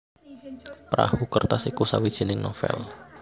Perahu Kertas iku sawijining novèl